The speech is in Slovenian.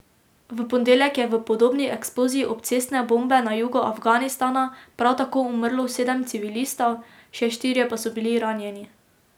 V ponedeljek je v podobni eksploziji obcestne bombe na jugu Afganistana prav tako umrlo sedem civilistov, še štirje pa so bili ranjeni.